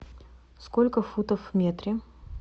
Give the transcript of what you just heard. сколько футов в метре